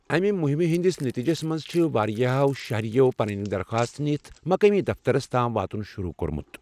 امہِ مہمہ ہٕنٛدس نٔتیٖجَس منٛز چھِ واریاہو شہرٮ۪و پنٕنۍ درخواستہٕ نِتھ مقٲمی دفترس تام واتُن شروع کوٚرمُت۔